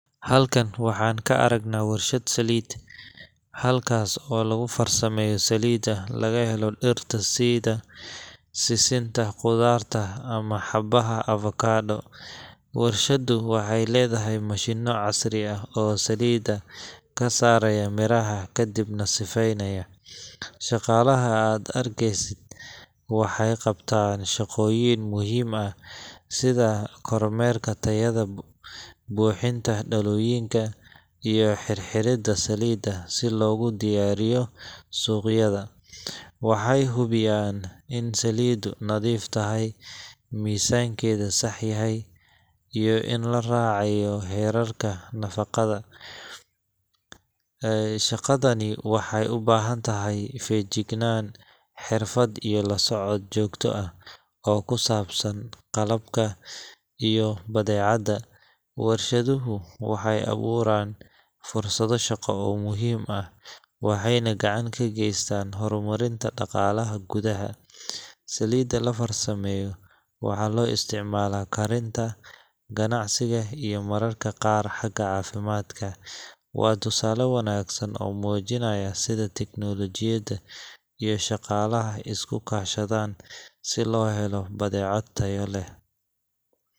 Halkan waxaan ka aragnaa warshad saliid, halkaas oo lagu farsameeyo saliidda laga helo dhirta sida sisinta, qudaarta ama xabbaha avocado. Warshaddu waxay leedahay mashiinno casri ah oo saliidda ka saara miraha kadibna sifeynaya. Shaqaalaha aad arkaysid waxay qabtaan shaqooyin muhiim ah sida kormeerka tayada, buuxinta dhalooyinka, iyo xirxiridda saliidda si loogu diyaariyo suuqyada. Waxay hubiyaan in saliiddu nadiif tahay, miisaankeeda sax yahay, iyo in la raacayo heerarka nafaqada. Shaqadani waxay u baahan tahay feejignaan, xirfad, iyo la socod joogto ah oo ku saabsan qalabka iyo badeecadda. Warshaduhu waxay abuuraan fursado shaqo oo muhiim ah, waxayna gacan ka geystaan horumarinta dhaqaalaha gudaha. Saliidda la farsameeyo waxaa loo isticmaalaa karinta, ganacsiga, iyo mararka qaar xagga caafimaadka. Waa tusaale wanaagsan oo muujinaya sida tiknoolajiyadda iyo shaqaalaha isku kaashadaan si loo helo badeeco tayo leh